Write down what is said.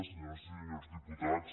senyores i senyors diputats